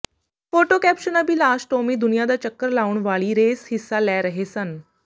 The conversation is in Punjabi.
ਫੋਟੋ ਕੈਪਸ਼ਨ ਅਭਿਲਾਸ਼ ਟੌਮੀ ਦੁਨੀਆਂ ਦਾ ਚੱਕਰ ਲਾਉਣ ਵਾਲੀ ਰੇਸ ਹਿੱਸਾ ਲੈ ਰਹੇ ਸਨ